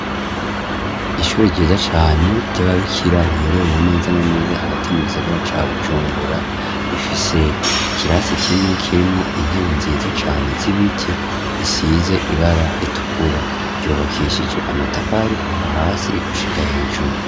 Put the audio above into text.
Ishuri ryiza cane ry'ababikira riherereye neza na neza hagati mu gisagara ca Bujumbura rifise ikirasi kimwe kirimwo intebe nziza cane z'ibiti isize ibara ritukura ryubakishije amatafari kuva hasi gushika hejuru.